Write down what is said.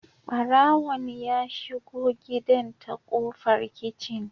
Barawon ya shigo gidan ta kofar kicin